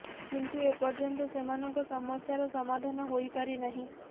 କିନ୍ତୁ ଏ ପର୍ଯ୍ୟନ୍ତ ସେମାନଙ୍କ ସମସ୍ୟାର ସମାଧାନ ହୋଇପାରି ନାହିଁ